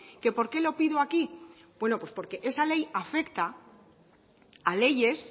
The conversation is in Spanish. que porqué lo pido aquí bueno pues porque esa ley afecta a leyes